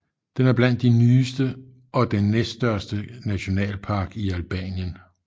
Den er blandt de nyeste og den næststørste nationalpark i Albanien